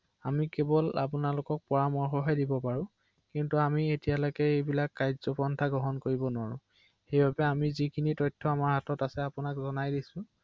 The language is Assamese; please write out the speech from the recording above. অ